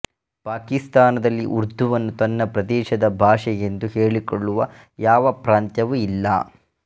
ಪಾಕಿಸ್ತಾನದಲ್ಲಿ ಉರ್ದುವನ್ನು ತನ್ನ ಪ್ರದೇಶದ ಭಾಷೆಯೆಂದು ಹೇಳಿಕೊಳ್ಳುವ ಯಾವ ಪ್ರಾಂತ್ಯವೂ ಇಲ್ಲ